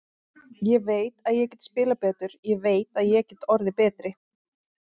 Ég veit að ég get spilað betur, ég veit að ég get orðið betri.